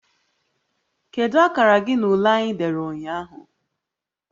Kedu akara gị na ule anyị dere ụnyaahụ?